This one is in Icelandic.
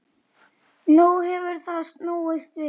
Nú hefur það snúist við.